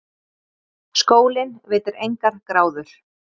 Skólinn veitir engar gráður.